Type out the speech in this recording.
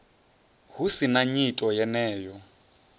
hu si na nyito yeneyo